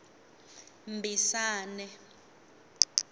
mbisane